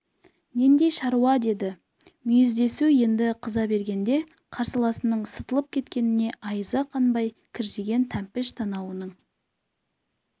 нендей шаруа деді мүйіздесу енді қыза бергенде қарсыласының сытылып кеткеніне айызы қанбай кіржиген тәмпіш танауының